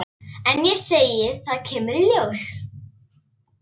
Eins og ég segi. það kemur í ljós.